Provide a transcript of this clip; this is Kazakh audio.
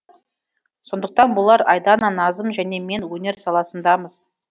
сондықтан болар айдана назым және мен өнер саласындамыз